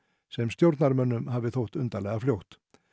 sem stjórnarmönnum hafi þótt undarlega fljótt